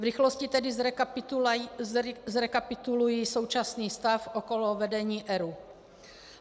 V rychlosti tedy zrekapituluji současný stav okolo vedení ERÚ.